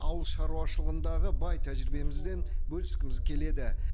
ауыл шаруашылығындағы бай тәжірибемізбен бөліскіміз келеді